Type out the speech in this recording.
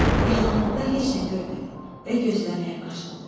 Yaxınlıqda heç nə görmədi və gözləməyə başladı.